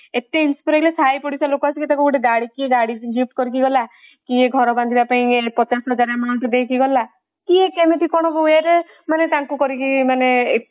ଏତେ ସାହି ପଡିସା ଲୋକ ଆସି ତାକୁ ଗାଡି କିଏ ଗାଡି gift କରିକି ଗଲା କିଏ ଘର ବାନ୍ଧିବା ପାଇଁ ପଚାଶ ହଜାର amount ଦେଇକି ଗଲା କିଏ କେମିତି କଣ way ରେ ମାନେ ତାଙ୍କୁ କରିକି ମାନେ ଏତେ